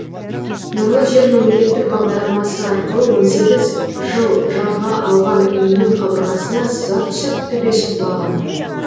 нұрлы жер мемлекеттік бағдарламасы арқылы он сегіз жыл жалға алған үйінің қабырғасына сызат түсіп төбесі құлаған